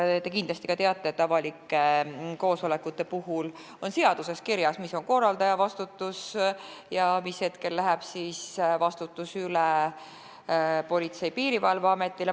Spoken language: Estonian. Te kindlasti teate, et avalike koosolekute kohta on seaduses kirjas, mis on korraldaja vastutus ja mis hetkel läheb vastutus üle Politsei- ja Piirivalveametile.